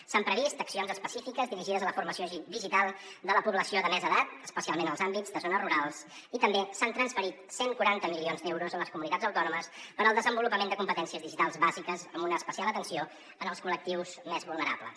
s’han previst accions específiques dirigides a la formació digital de la població de més edat especialment en els àmbits de zones rurals i també s’han transferit cent i quaranta milions d’euros a les comunitats autònomes per al desenvolupament de competències digitals bàsiques amb una especial atenció en els col·lectius més vulnerables